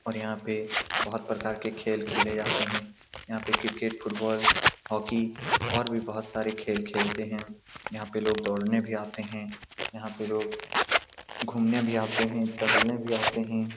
और यहाँ पे बहोत प्रकार के खेल खेले जाते हैं यहाँ पे क्रिकेट फुटबॉल हॉकी और भी बहोत सारे खेल खेलते हैं यहाँ पे लोग दौड़ने भी आते हैं यहाँ पे लोग घूमने भी आते हैं टहलने भी आते हैं ।